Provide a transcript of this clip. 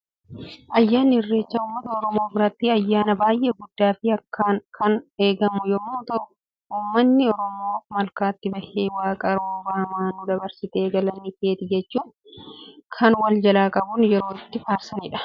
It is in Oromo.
Ayyaanni irreechaa, uummata Oromoo biratti ayyaana baayyee guddaa fi akkaan kan eegamu yemmuu ta'u, uummatni Oromoo malkaatti bahee waaqa rooba hamaa nu dabarsite galanni keeti jechuun wal jalaa qabuun yeroo itti faarsanidha.